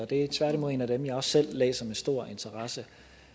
det er tværtimod en af dem jeg også selv læser med stor interesse